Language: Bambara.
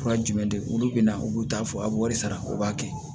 Fura jumɛn de olu bɛ na u b'u ta fɔ a b'o wari sara u b'a kɛ